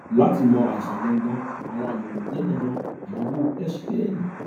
láti mọ àìsàn gangan àwọn àyẹwò wọnyí jẹ dandan àyẹwò xray ẹyìn